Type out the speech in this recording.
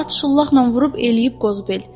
At şıllaqla vurub eləyib qozbel.